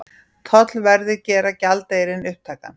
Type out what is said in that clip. Tollverðir gera gjaldeyrinn upptækan